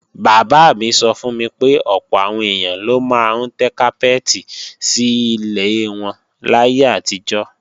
Bàbá mi sọ fún mi pé ọ̀pọ̀ àwọn èèyàn ló máa ń tẹ́ kápẹ́ẹ̀tì sí ilẹ̀ wọn láyé àtijọ́